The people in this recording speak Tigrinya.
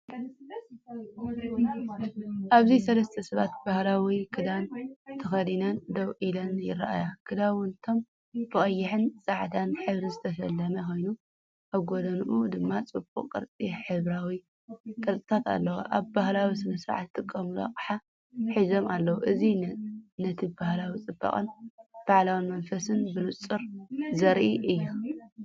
ኣብዚ ሰለስተ ሰባት ባህላዊ ክዳን ተኸዲነን ደው ኢለን ይረኣዩ። ክዳውንቶም ብቐይሕን ጻዕዳን ሕብሪ ዝተሰለመ ኮይኑ፡ኣብ ጎድኑ ድማ ጽቡቕ ቅርጺ ሕብራዊ ቅርጽታት ኣለዎ። ኣብ ባህላዊ ስነ-ስርዓት ዝጥቀሙሉ ኣቑሑት ሒዞም ኣለዉ። እዚ ነቲባህላዊ ጽባቐን በዓላዊ መንፈስን ብንጹር ዘርኢ እዩ።